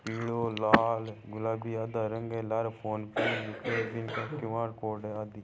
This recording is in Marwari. पीलो लाल गुलाबी आधा रंग है लारे फोन पे क्यूआर कोड है आदि --